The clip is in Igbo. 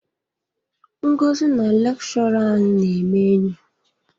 Ngozi na lekshọra anyị na-eme enyi.